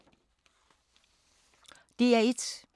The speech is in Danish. DR1